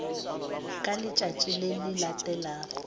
ka letšatši le le latelago